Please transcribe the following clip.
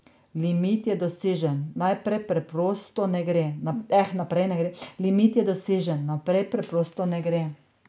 Limit je dosežen, naprej preprosto ne gre.